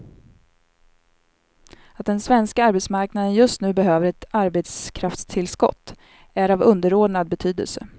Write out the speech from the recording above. Att den svenska arbetsmarknaden just nu behöver ett arbetskraftstillskott är av underordnad betydelse.